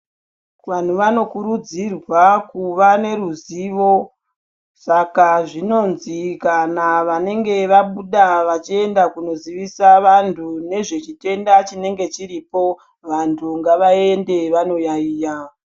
Vanhu vanokurudzirwa kuva neruzivo. Saka zvinonzi kana vanenge vabuda vachienda kunozivisa vantu nezvechitenda chinenge chiripo. Vantu ngavaende vanoyaiya.